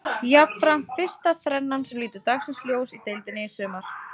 Jafnframt fyrsta þrennan sem lítur dagsins ljós í deildinni í sumar.